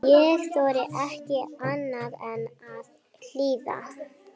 Ég þorði ekki annað en að hlýða.